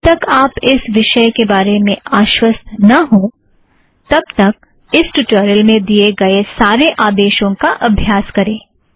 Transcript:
जब तक आप इस विषय के बारे में आश्वस्त न हों तब तक इस ट्युटोरियल में दिए गए सारे आदेशों का अभ्यास करें